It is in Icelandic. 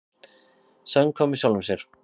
Samkvæmur sjálfum sér.